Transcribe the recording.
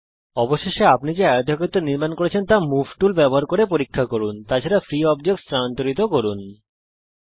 অবশেষে আপনি যে আয়তক্ষেত্র নির্মান করেছেন তা মুভ টুল ব্যবহার করে পরীক্ষা করুন তাছাড়া ফ্রী অবজেক্টসমুক্ত বস্তুগুলিস্থানান্তরিত করুন